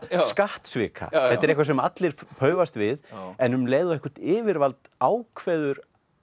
skattsvika þetta er eitthvað sem allir paufast við en um leið og eitthvert yfirvald ákveður